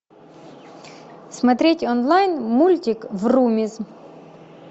смотреть онлайн мультик врумиз